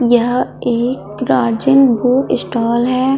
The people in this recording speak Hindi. यह एक राजेंद्र बुक स्टॉल है।